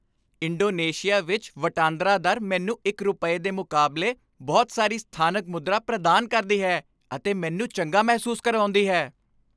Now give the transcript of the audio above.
Indonesia ਵਿੱਚ ਵਟਾਂਦਰਾ ਦਰ ਮੈਨੂੰ ਇੱਕ ਰੁਪਏ ਦੇ ਮੁਕਾਬਲੇ ਬਹੁਤ ਸਾਰੀ ਸਥਾਨਕ ਮੁਦਰਾ ਪ੍ਰਦਾਨ ਕਰਦੀ ਹੈ ਅਤੇ ਮੈਨੂੰ ਚੰਗਾ ਮਹਿਸੂਸ ਕਰਾਉਂਦੀ ਹੈ।